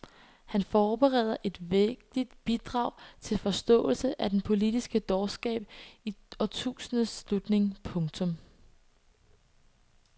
Han forbereder et vægtigt bidrag til forståelse af den politiske dårskab i årtusindets slutning. punktum